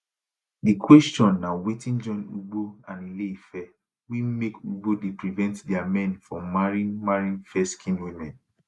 di question na wetin join ugbo and ileife wey make ugbo dey prevent dia men from marrying marrying fairskinned women